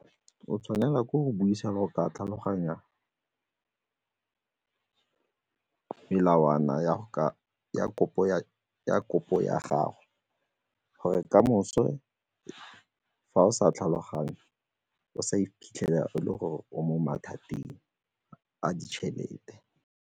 O tshwanela ke go buisa le go ka tlhaloganya melawana ya kopo ya gago gore kamoso fa o sa tlhaloganye o sa iphitlhela e le gore o mo mathateng a ditšhelete.